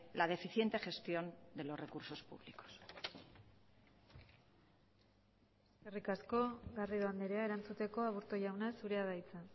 la deficiente gestión de los recursos públicos eskerrik asko garrido andrea erantzuteko aburto jauna zurea da hitza